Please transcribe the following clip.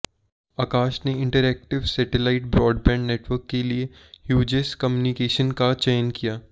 आकाश ने interactive satellite broadband network के लिए ह्यूजेस कम्युनिकेशंस का चयन किया